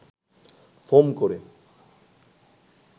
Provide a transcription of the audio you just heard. foam করে